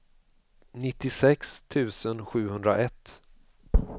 nittiosex tusen sjuhundraett